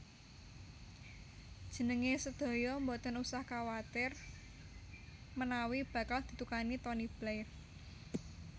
Njenengan sedaya mboten usah kuwatir menawi bakal didukani Tony Blair